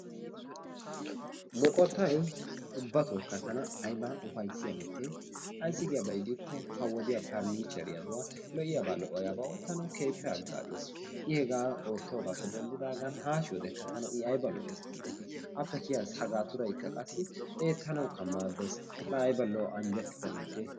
Moqottay ubbatokka tana ayiba upayissiya mitte, ayissi giyaaba gidikko ha wodiya parnicheriyaduwa lo'iyaaba lo'iyaaba oottanaw keehippe hagaazes. I hegaa ottoogaappe dendidaagan haashiyoodekka i tana ayiba lo'es giideti appe kiyiya sagaturayikka qassi eettanawukka maaddes. La ayiba lo'o anjettida mitte.